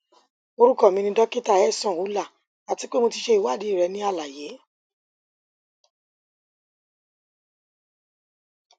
orukọ mi ni dokita ehsan ullah ati pe mo ti ṣe iwadii rẹ ni alaye